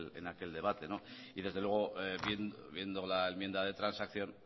en aquel debate y desde luego viendo la enmienda de transacción